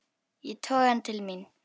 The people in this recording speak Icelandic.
Ég toga hann til mín.